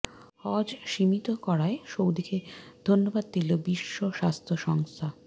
হজ সীমিত করায় সৌদিকে ধন্যবাদ দিল বিশ্ব স্বাস্থ্য সংস্থা